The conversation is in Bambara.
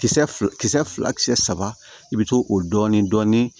Kisɛ fila kisɛ fila kisɛ saba i be to o dɔɔnin dɔɔnin